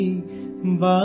झोले में भला क्या है